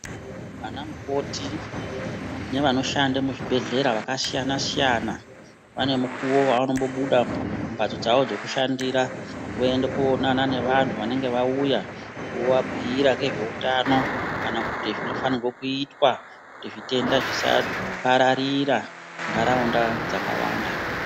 Vana mukoti nevanoshanda muzvibhedhlera vakasiyana-siyana, vanomukuvo vavanombobuda mumhatso dzavo dzekushandira voende koonana nevanhu vanenge vauya vovabhuira nezveutano, kana kuti zvinofanirwa kuitwa kuti zvitenda zvisapararira munharaunda dzakawanda.